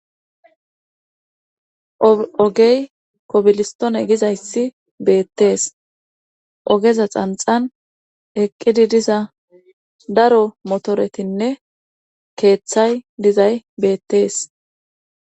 Oogey kobilistone gizayssi beettees oogeza xanxan eqqidi diza daro motoretinne keeththay dizay beettees